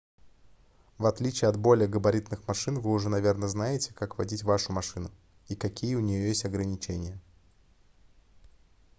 в отличие от более габаритных машин вы уже наверное знаете как водить вашу машину и какие у неё есть ограничения